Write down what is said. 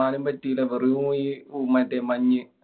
കാണാനും പറ്റില്ലാ. വെറും ഈ മറ്റേ മഞ്ഞ്.